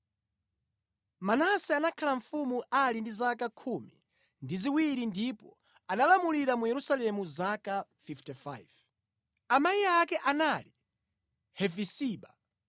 Manase anakhala mfumu ali ndi zaka khumi ndi ziwiri ndipo analamulira mu Yerusalemu zaka 55. Amayi ake anali Hefiziba.